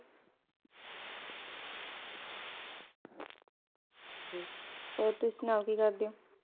ਹੋਰ ਤੁਸੀਂ ਸੁਣਾਓ ਕਿ ਕਰਦੇ ਓ?